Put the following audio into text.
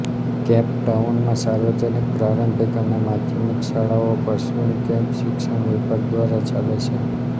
cap ટાઉનમાં સાર્વજનિક પ્રારંભિક અને માધ્યમિક શાળાઓ પશ્ચિમ કેપ શિક્ષણ વિભાગ દ્વારા ચાલે છે